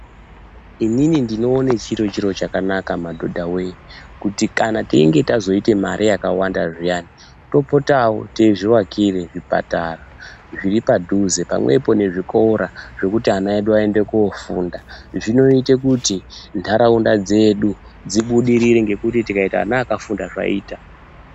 Inini ndinoone chiri chiro chakanaka madhodhawee kuti kana kana teinge tazoita mare yakawanda zviyani topotawo teizvivakire zvipatara zviri padhuze pamwepo nezvikora zvekuti ana edu aende koofunda, zvinoite kuti ntaraunda dzedu dzibudirire ngekuti tikaita ana akafunda zvaita.